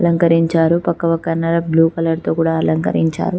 అలంకరించారు పక్క పక్కన బ్లూ కలర్ తో కూడా అలంకరించారు